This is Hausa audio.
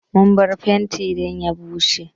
Mun bar fenti dan ya bushe.